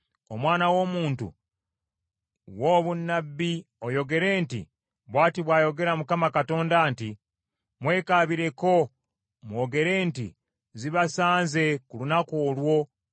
“Omwana w’omuntu, wa obunnabbi oyogere nti: ‘Bw’ati bw’ayogera Mukama Katonda nti, “ ‘Mwekaabireko mwogere nti, “Zibasanze ku lunaku olwo”